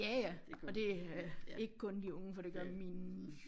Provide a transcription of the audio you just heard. Ja ja og det øh ikke kun de unge for det gør min